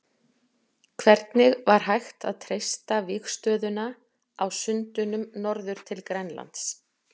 Hvernig var hægt að treysta vígstöðuna á sundunum norður til Grænlands?